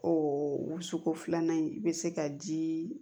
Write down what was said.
O wusuko filanan in i be se ka dii